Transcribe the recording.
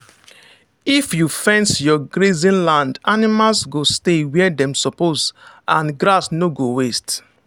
if you fence your grazing land animals go stay where dem suppose and grass no go waste.